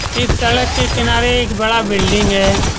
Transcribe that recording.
इस सड़क के किनारे एक बड़ा बिल्डिंग है।